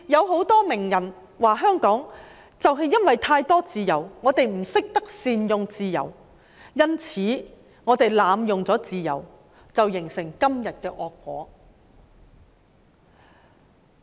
很多名人說，就是因為香港有太多自由，而人們不懂得善用自由，因此自由才會被濫用，造成今天的惡果。